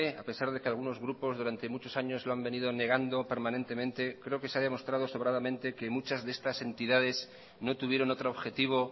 a pesar de que algunos grupos durante mucho años lo han venido negando permanentemente creo que se ha demostrado sobradamente que muchas de estas entidades no tuvieron otro objetivo